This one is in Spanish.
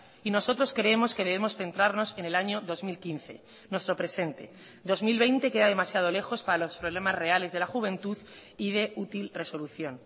y nosotros creemos que debemos centrarnos en el año dos mil quince nuestro presente dos mil veinte queda demasiado lejos para los problemas reales de la juventud y de útil resolución